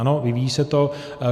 Ano, vyvíjí se to.